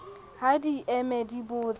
ha di eme di botse